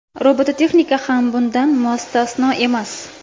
Robototexnika ham bundan mustasno emas.